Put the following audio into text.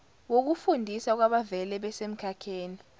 wokufundisa kwabavele besemkhakheni